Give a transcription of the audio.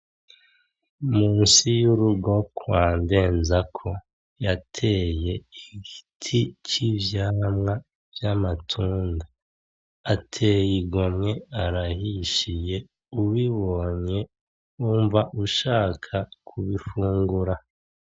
Munsi y'urugo kwa Ndenzako yateye igiti c'ivyamwa vy'amatunda. Ateye igomwe arahishiye, ubibonye wumva ushaka kubifungura.